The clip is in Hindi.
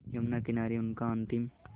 यमुना किनारे उनका अंतिम